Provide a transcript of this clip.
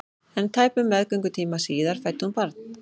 En tæpum meðgöngutíma síðar fæddi hún barn.